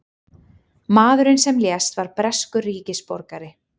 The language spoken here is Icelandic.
Maðurinn sem lést var breskur ríkisborgari